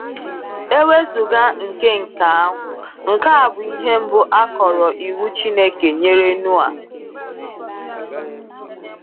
E wezụga nke nke ahụ, nke a bụ ihe mbụ a kọrọ iwu Chineke nyere Noa.